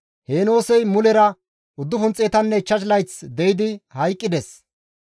Heenoosey mulera 905 layth de7idi hayqqides.